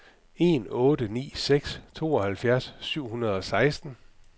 en otte ni seks tooghalvfjerds syv hundrede og seksten